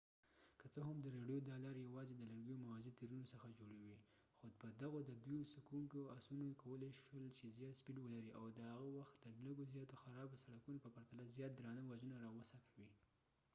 که څه هم د رېړیو دا لارې یواځې د لرګیو موازي تیرونو څخه جوړې وې خو په دغو د دوی څکوونکو اسونو کولای شول چې زیات سپیډ ولري او د هغه وخت د لږو زیاتو خرابو سړکونو په پرتله زیات درانه وزنونه راوڅکوي